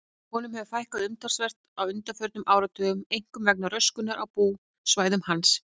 Honum hefur fækkað umtalsvert á undanförnum áratugum, einkum vegna röskunar á búsvæðum hans.